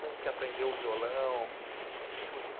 Como que aprendeu o violão? O que você...